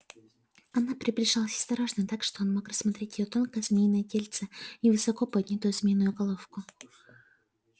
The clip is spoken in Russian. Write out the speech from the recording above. она приближалась осторожно так что он мог рассмотреть её тонкое змеиное тельце и высоко поднятую змеиную головку